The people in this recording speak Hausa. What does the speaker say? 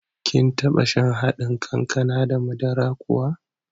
Kin taɓa shan haɗin kankana da madara kuwa?